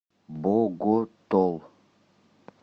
боготол